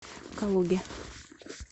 калуге